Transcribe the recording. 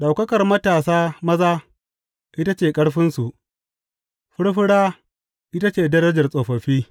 Ɗaukakar matasa maza ita ce ƙarfinsu, furfura ita ce darajar tsofaffi.